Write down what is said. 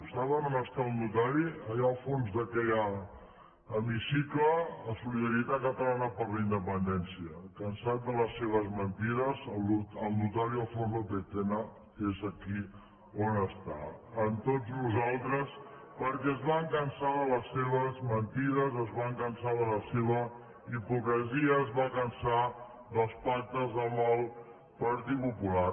saben on està el notari allà al fons d’aquest hemicicle a solidaritat catalana per la independència cansat de les seves mentides el notari alfons lópez tena és aquí on està amb tots nosaltres perquè es va cansar de les seves mentides es va cansar de la seva hipocresia es va cansar dels pactes amb el partit popular